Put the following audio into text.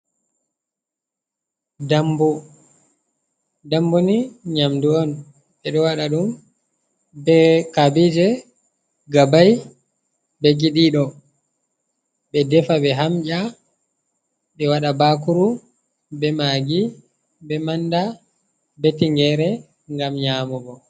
Dambu, dambu ni nyamdu on ɓeɗo waɗa ɗum be kabije, gabai, be giɗiɗo ɓedefa ɓe hamnƴa ɓe waɗa bakuru be magi be manda be tingere ngam nyamugo.